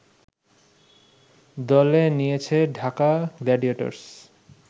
দলে নিয়েছে ঢাকা গ্লাডিয়েটর্স